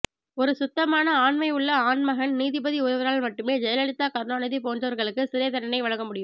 ஒரு சுத்தமான ஆண்மைவுள்ள ஆண்மகன் நீதிபதி ஒருவரால் மட்டுமே ஜெயலிதா கருணாநிதி போன்றவர்களுக்கு சிறை தண்டனை வழங்கமுடியும்